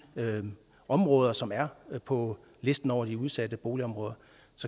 områder som er på listen over de udsatte boligområder